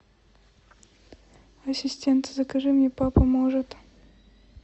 ассистент закажи мне папа может